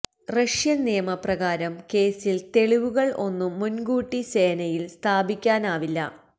Russian നിയമ പ്രകാരം കേസിൽ തെളിവുകൾ ഒന്നും മുൻകൂട്ടി സേനയിൽ സ്ഥാപിക്കാനാവില്ല